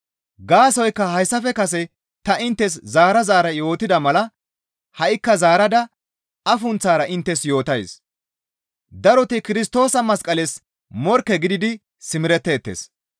Gaasoykka hayssafe kase ta inttes zaara zaara yootida mala ha7ikka zaarada afunththara inttes yootays; daroti Kirstoosa masqales morkke gididi simeretteettes.